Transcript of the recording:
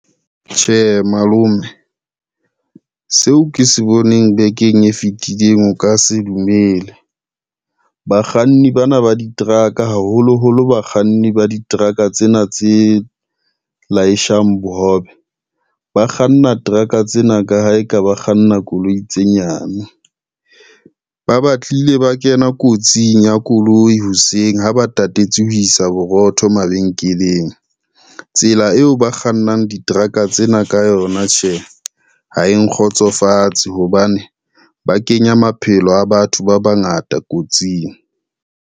Tjhe malome, seo ke se boneng bekeng e fetileng o ka se dumele, bakganni bana ba di-truck a haholoholo bakganni ba diteraka tsena tse leashang bohobe, ba kganna truck-a tsena ka ha e ka ba kganna koloi tse nyane. Ba batlile ba kena kotsing ya koloi hoseng ha ba tatetse ho isa borotho mabenkeleng, tsela eo ba kgannang diteraka tsena ka yona tjhe, ha e nkgotsofatse hobane ba kenya maphelo a batho ba bangata kotsing.